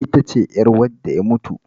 Ita ce ƴar wanda ya mutu